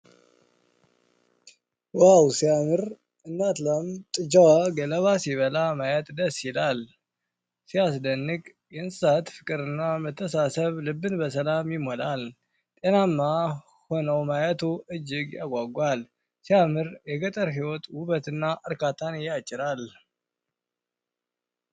ዋው ሲያምር! እናት ላምና ጥጃዋ ገለባ ሲበሉ ማየት ደስ ይላል። ሲያስደንቅ! የእንስሳት ፍቅርና መተሳሰብ ልብን በሰላም ይሞላል። ጤናማ ሆነው ማየቱ እጅግ ያጓጓል። ሲያምር! የገጠር ህይወት ውበት እርካታን ያጭራል